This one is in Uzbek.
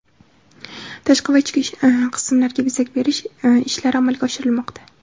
tashqi va ichki qismlarga bezak berish ishlari amalga oshirilmoqda.